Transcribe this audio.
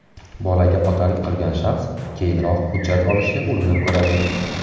Bolaga otalik qilgan shaxs keyinroq hujjat olishga urinib ko‘radi.